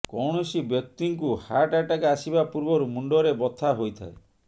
କୌଣସି ବ୍ୟକ୍ତିଙ୍କୁ heart attack ଆସିବା ପୂର୍ବରୁ ମୁଣ୍ଡରେ ବଥା ହୋଇଥାଏ